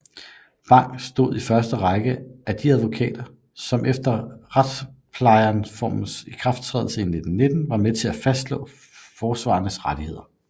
Bang stod i første række af de advokater som efter retsplejereformens ikrafttræden 1919 var med til at fastslå forsvarerens rettigheder